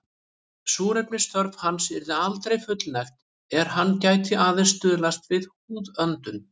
Súrefnisþörf hans yrði aldrei fullnægt er hann gæti aðeins stuðst við húðöndun.